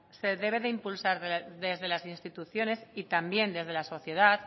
se debe de impulsar desde las instituciones y también desde la sociedad